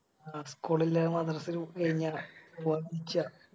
School ഇല്ലേ മദ്രസയും കയിഞ്ഞ്